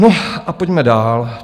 No a pojďme dál.